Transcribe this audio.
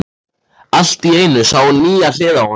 Allt í einu sá hún nýja hlið á honum.